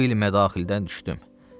Bu il mədaxildən düşdüm.